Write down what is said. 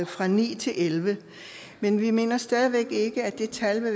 fra ni til elleve men vi mener stadig væk ikke at det tal vil